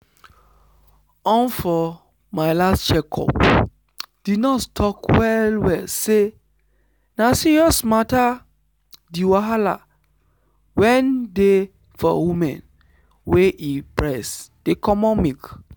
umfor my last check up the nurse talk well well say na serious matters the wahala wen dey for woman wey e breast dey comot milk.